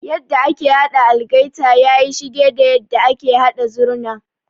Yadda ake haɗa algaita yayi shige da yadda ake haɗa Zurna.